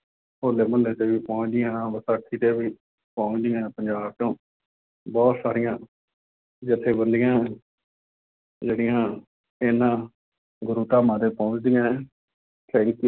ਹੌਲੇ ਮਹੱਲੇ ਤੇ ਵੀ ਪਹੁੰਚਦੀਆਂ, ਵਿਸਾਖੀ ਤੇ ਵੀ ਪਹੁੰਚਦੀਆਂ ਪੰਜਾਬ ਤੋਂ, ਬਹੁਤ ਸਾਰੀਆਂ ਜੱਥੇਬੰਦੀਆਂ ਜਿਹੜੀਆਂ ਇਹਨਾ ਗੁਰੂ ਧਾਮਾਂ ਤੇ ਪਹੁੰਚਦੀਆਂ ਹੈ, thank